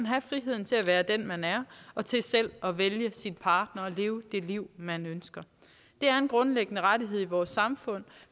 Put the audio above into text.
have friheden til at være den man er og til selv at vælge sin partner og leve det liv man ønsker det er en grundlæggende rettighed i vores samfund